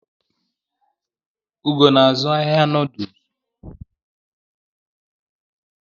Ugo na-azụ ahịa Nudulsu